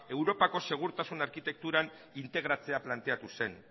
europako segurtasun arkitekturan integratzea planteatu zen